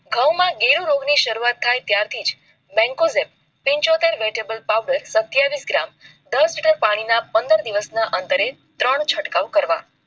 ઘઉં માં ગેહુ રોગ ની શરૂઆત થાય ત્યારે બેકવેટ ટેઝૉગેટ વગેરે પાવડર સતિયાવીસ ગ્રામ દાસ લીટર પાણી માં પંદર દિવસ ના અતરે ત્રણ ચટકાવ કરવા